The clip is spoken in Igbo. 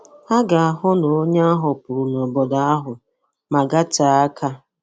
Ha ga-ahụ na onye ahụ pụrụ nobodo ahụ ma gatee aka.